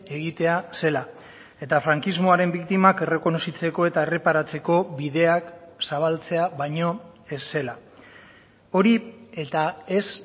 egitea zela eta frankismoaren biktimak errekonozitzeko eta erreparatzeko bideak zabaltzea baino ez zela hori eta ez